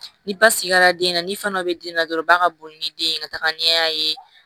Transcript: Ni ba sigira den na ni fana bɛ den na dɔrɔn ba ka boli ni den ye ka taga ɲɛ